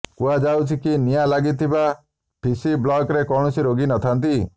କୁହାଯାଉଛି କି ନିଆଁ ଲାଗିଥିବା ପିସି ବ୍ଲକ୍ରେ କୌଣସି ରୋଗୀ ନଥାନ୍ତି